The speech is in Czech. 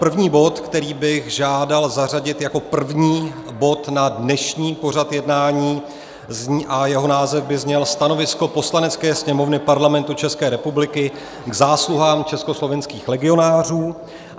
První bod, který bych žádal zařadit jako první bod na dnešní pořad jednání a jeho název by zněl Stanovisko Poslanecké sněmovny Parlamentu České republiky k zásluhám československých legionářů.